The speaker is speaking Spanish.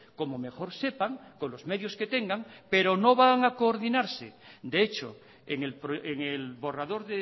como mejor sepan con los medios que tengan pero no van a coordinarse de hecho en el borrador